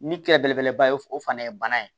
Ni kɛlɛ belebeleba ye o fana ye bana ye